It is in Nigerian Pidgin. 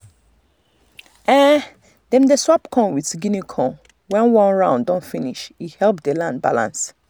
dem um dey swap corn with guinea corn when one round don finish e help the land balance.